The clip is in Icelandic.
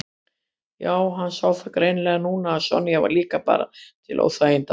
Já, hann sá það greinilega núna að Sonja var líka bara til óþæginda.